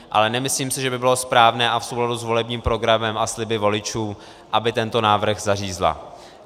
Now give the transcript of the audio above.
Ale nemyslím si, že by bylo správné a v souladu s volebním programem a sliby voličům, aby tento návrh zařízla.